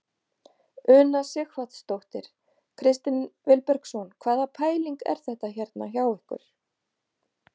Una Sighvatsdóttir: Kristinn Vilbergsson hvaða pæling er þetta hérna hjá ykkur?